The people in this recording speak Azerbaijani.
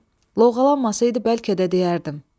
Loğalanmasaydı bəlkə də deyərdim.